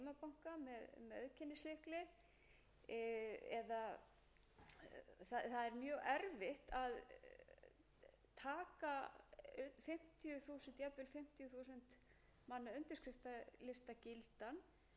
við gera það jafnvel í gegnum heimabanka með auðkennislykli það er mjög erfitt að taka jafnvel fimmtíu þúsund manna undirskriftalista gildan þegar við höfum engar reglur um hvernig svona undirskriftasöfnun